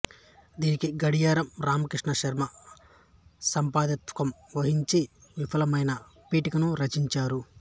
దీనికి గడియారం రామకృష్ణ శర్మ సంపాదకత్వం వహించి విపులమైన పీఠికను రచించారు